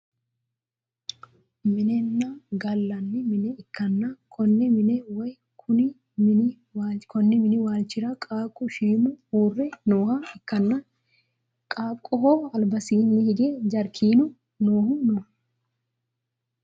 minenna gallanni mine ikkanna, konne mine woy konni mini waalchira qaaqqu shiimu uurre nooha ikkanna, qaaqqoho albasiinni hige jaarkiinu noohu no.